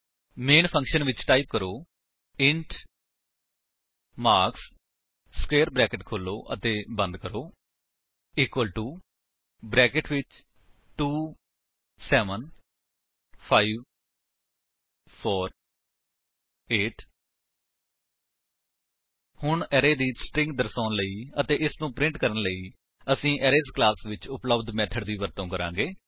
ਮੈਨ function ਵਿੱਚ type ਕਰੋ int marks square brackets ਖੋਲੋ ਅਤੇ ਬੰਦ ਕਰੋ ਇਕੁਅਲ ਟੋ ਬਰੈਕੇਟਸ ਵਿੱਚ 2 7 5 4 8 ਹੁਣ ਅਰੇ ਦੀ ਸਟਰਿੰਗ ਦਰਸਾਉਣ ਲਈ ਅਤੇ ਇਸਨੂੰ ਪ੍ਰਿੰਟ ਕਰਨ ਲਈ ਅਸੀ ਅਰੇਜ਼ ਕਲਾਸ ਵਿੱਚ ਉਪਲੱਬਧ ਮੇਥਡ ਦੀ ਵਰਤੋ ਕਰਾਂਗੇ